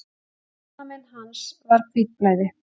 Banamein hans var hvítblæði.